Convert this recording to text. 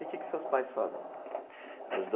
E que que seus pais fazem?